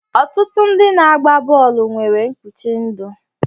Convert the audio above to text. Ọtụtụ ndị na-agba bọọlụ nwere mkpuchi ndụ